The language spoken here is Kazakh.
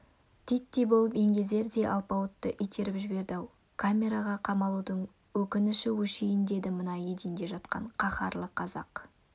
титтей болып еңгезердей алпауытты итеріп жіберді-ау камераға қамалудың өкініші өшейін деді мына еденде жатқан қаһарлы қазақ